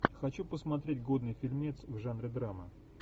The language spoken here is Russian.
хочу посмотреть годный фильмец в жанре драма